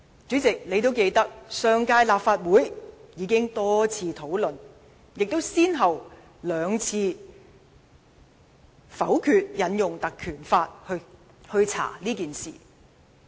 主席，你應該記得，上屆立法會已經多次討論此事，亦先後兩次否決引用《條例》進行調查。